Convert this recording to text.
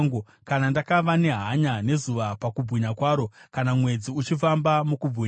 kana ndakava nehanya nezuva pakubwinya kwaro, kana mwedzi uchifamba mukubwinya,